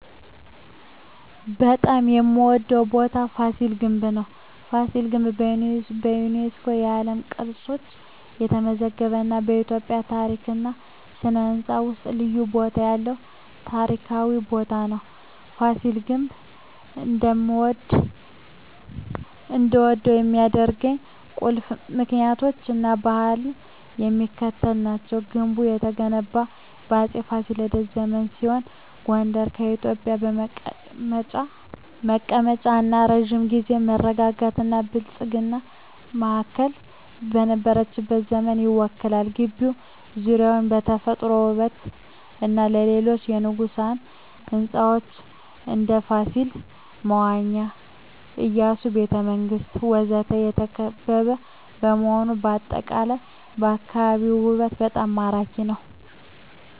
በጣም የምዎደው ቦታ ፋሲል ግንብ ነው። ፋሲል ግንብ በዩኔስኮ የዓለም ቅርስነት የተመዘገበ እና በኢትዮጵያ ታሪክ እና ሥነ ሕንፃ ውስጥ ልዩ ቦታ ያለው ታሪካዊ ቦታ ነው። ፋሲል ግንብ እንድወደው ከሚያደርኝ ቁልፍ ምክንያቶች እና ባህሪያት የሚከተሉት ናቸው። ግንቡ የተገነባው በአፄ ፋሲለደስ ዘመን ሲሆን ጎንደር የኢትዮጵያ መቀመጫ እና የረጅም ጊዜ መረጋጋትና ብልጽግና ማዕከል የነበረችበትን ዘመን ይወክላል። ግቢው ዙሪያውን በተፈጥሮ ውበትና በሌሎች የንጉሣዊ ሕንፃዎች (እንደ ፋሲል መዋኛ፣ የኢያሱ ቤተ መንግስት ወዘተ) የተከበበ በመሆኑ አጠቃላይ የአካባቢው ውበት በጣም ማራኪ ነው። …